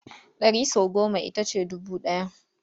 Ɗari sau goma ita ce dubu ɗaya.